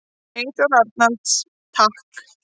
Eyþór Arnalds: Takk.